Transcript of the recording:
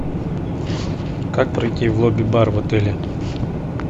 как пройти в лобби бар в отеле